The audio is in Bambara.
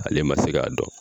Ale ma se k'a dɔn.